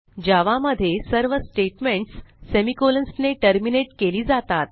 जावा मध्ये सर्व statements semicolons ने टर्मिनेट केली जातात